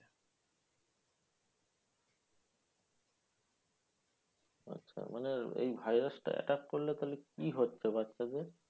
আচ্ছা মানে এই virus টা attack করলে তাহলে কি হচ্ছে বাচ্চাদের?